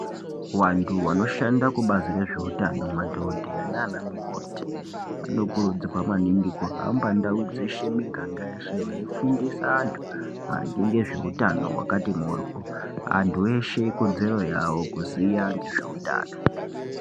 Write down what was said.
Vantu vanoshanda kubazi rezveutano madhokodheya nanamukoti vanokurudzirwa maningi kuhamba ndau dzeshe miganga yeshe veifundisa antu ngezveutano hwakati mhoryo. Antu eshe ikodzero yavo kuziya ngezveutano.